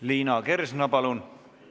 Liina Kersna, palun!